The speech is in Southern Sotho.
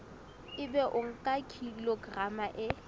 ebe o nka kilograma e